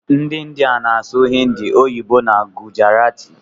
Ndi india na asụ hindi, oyibo na gujarati.